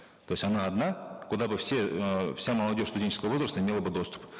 то есть она одна куда бы все эээ вся молодежь студенческого возраста имела бы доступ